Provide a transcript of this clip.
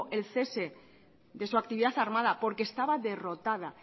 el cese de su actividad armada porque estaba derrotada